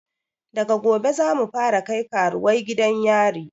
Daga gobe zamu fara kai karuwai gidan yari